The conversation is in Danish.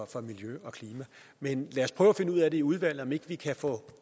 for miljøet og klimaet men lad os prøve at finde ud af i udvalget om ikke vi kan få